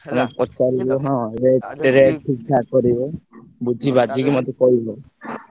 ସେଇଆ ପଚାରିବ ଠିକ୍ ଠାକ କରିବ ବୁଝିବାଝିକି ମତେ କହିବ ।